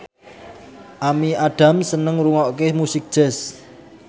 Amy Adams seneng ngrungokne musik jazz